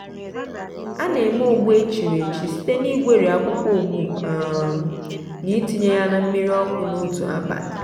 a na-eme ogbu echiriechi site na igweri akwụkwọ ogbu um na ịtinye ya na mmiri ọkụ n'otu abalị.